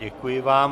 Děkuji vám.